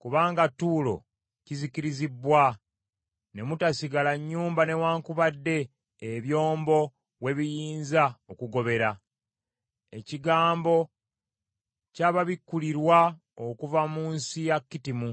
kubanga Tuulo kizikirizibbwa ne mutasigala nnyumba newaakubadde ebyombo we biyinza okugobera. Ekigambo kyababikulirwa okuva mu nsi ya Kittimu.